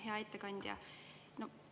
Hea ettekandja!